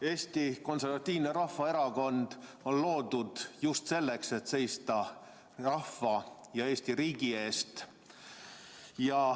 Eesti Konservatiivne Rahvaerakond on loodud just selleks, et seista rahva ja Eesti riigi eest.